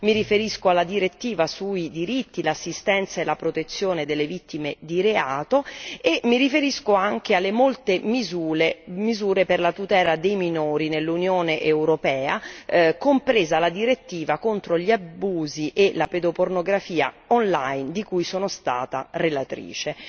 mi riferisco alla direttiva sui diritti, l'assistenza e la protezione delle vittime di reato e mi riferisco anche alle molte misure per la tutela dei minori nell'Unione europea, compresa la direttiva contro gli abusi e la pedopornografia online di cui sono stata relatrice.